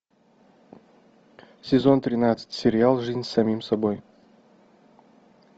сезон тринадцать сериал жизнь с самим собой